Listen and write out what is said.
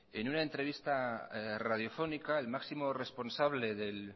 en una entrevista radiofónica el máximo responsable del